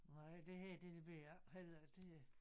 Nej det her det ved jeg ikke heller det øh